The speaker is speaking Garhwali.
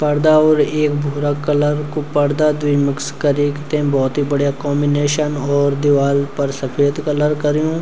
परदा और ऐक भूरा कलर कु परदा द्वि मिक्स करीक ते बहौत बडिया कॉमिनेसन और दिवाल पर सफेद कलर कर्युं।